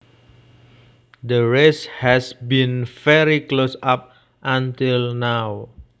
The race has been very close up until now